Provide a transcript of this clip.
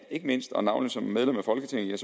ikke mindst og navnlig som medlem af folketinget